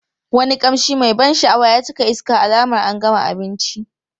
Wani kamshi mai ban sha'awa ya cika iska alamar an gama abinci.